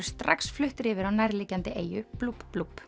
strax fluttir yfir á nærliggjandi eyju